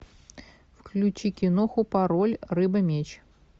включи киноху пароль рыба меч